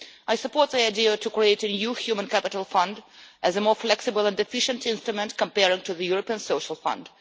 I support the idea to create an EU Human Capital Fund as a more flexible and efficient instrument compared to the European Social Fund.